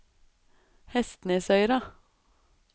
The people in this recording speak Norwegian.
Hestnesøyra